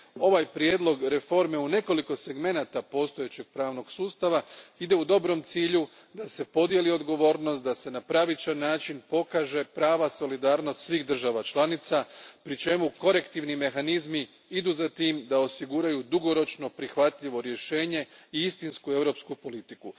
ovaj prijedlog reforme u nekoliko segmenata postojećeg pravnog sustava ide prema dobrom cilju da se podijeli odgovornost, na pravičan način pokaže prava solidarnost svih država članica pri čemu korektivni mehanizmi idu za tim da osiguraju dugoročno prihvatljivo rješenje i istinsku europsku politiku.